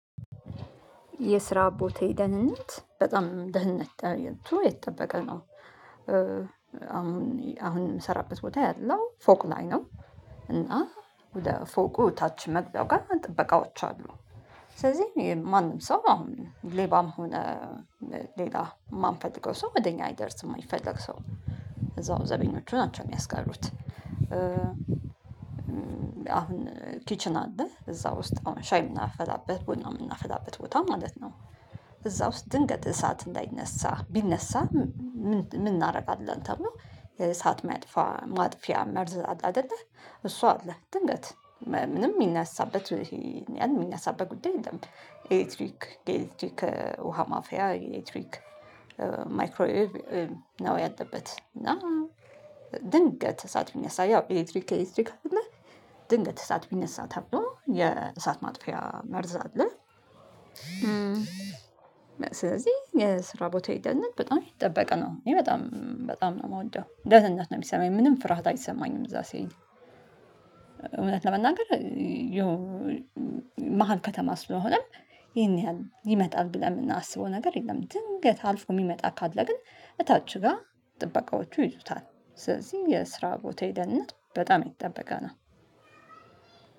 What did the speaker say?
የስራ ቦታዬ ደህንነት በጣም ደህንነት የተጠበቀ ነው አሁን አሁን የምሰራበት ቦታ ያለው ፎቅ ላይ ነው። እና ወደ ፎቁ ታች መግቢያው ጋር ጥበቃዎች አሉ። ስለዚህ ማንም ሰው አሁን ሌባም ሆነ ሌላ የማንፈትገው ሰው ወደ እኛ አይደርስም የማይፈለግ ሰው እዛው ዘበኞቹ ናቸው የሚያስቀሩት። አሁን ኪችን አለ እዛ ውስጥ አሁን ሻይ የምናፈላበት ቡና የምናፈላበት ቦታ ማለት ነው። እዛ ውስጥ ድንገት እሳት እንዳይነሳ ቢነሳ ምን እናደርጋለን ተብሎ? እሳት ማጥፋ ማጥፊያ መርዝ አለ አይደለ እሷ አለ። ድንገት ምንም የሚነሳበት ያንን የሚናሳበት ጉዳይ የለም። ኤሌክትሪክ ኤሌክትሪክ ውሃ ማፊያ ኤሌክትሪክ ማይክሮ ዌቭ ያለበት እና ድንገት እሳት ብነሳ ያው ኤሌክትሪክ ኤሌክትሪክ አይደለ። ድንገት እሳት ቢነሳ ተብሎ የእሳት ማጥፊያ መርዝ አለ ስለዚህ የስራ ቦታ ደህንነት በጣም የተጠበቅ ነው። በጣም በጣም ነው የምወደው ደህንነት ነው የሚሰማኝ ምንም ፍርሃት አይሰማኝም እዛ ሲሄድ። እውነት ለመናገር ያው መሃል ከተማ ስለሆነም ይሄን ያህል ይመጣል ብለን የምናስበው ነገር የለም። ድንገት አልፎ የሚመጣ ካለ ግን እታች ጋር ጥበቃዎቹ ይይዙታል። ስለዚህ የስራ ቦታ ደህንነት በጣም የተጠበቀ ነው።